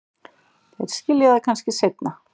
Þeir skilja það kannski seinna.